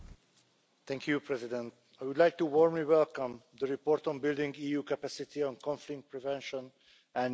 Mr President I would like to warmly welcome the report on building EU capacity on conflict prevention and mediation.